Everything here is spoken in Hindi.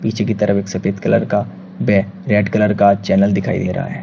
पीछे की तरफ एक सफेद कलर का वे रेड कलर का चैनल दिखाई दे रहा है।